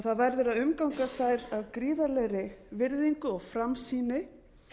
það verður að umgangast þær af gríðarlegri virðingu og framsýni